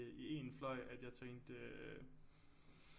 I én fløj at jeg tænkte øh